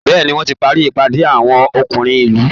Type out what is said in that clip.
Bẹ́ẹ̀ ni, wọ́n ti parí ìpàdé àwọn ọkùnrin ìlú